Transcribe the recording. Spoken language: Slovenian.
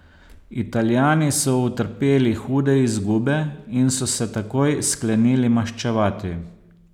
Italijani so utrpeli hude izgube in so se takoj sklenili maščevati.